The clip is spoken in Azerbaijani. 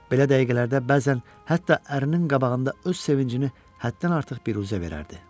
Belə dəqiqələrdə bəzən hətta ərinin qabağında öz sevincini həddən artıq biruzə verirdi.